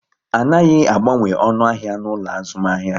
A naghi agbanwe onu ahia n'ulo azumahia